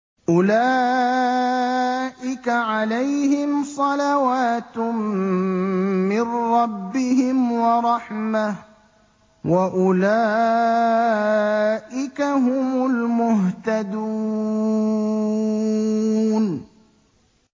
أُولَٰئِكَ عَلَيْهِمْ صَلَوَاتٌ مِّن رَّبِّهِمْ وَرَحْمَةٌ ۖ وَأُولَٰئِكَ هُمُ الْمُهْتَدُونَ